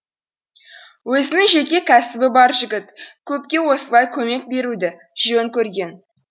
өзінің жеке кәсібі бар жігіт көпке осылай көмек беруді жөн көрген